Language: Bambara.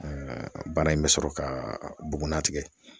bana in be sɔrɔ ka bugun na tigɛ.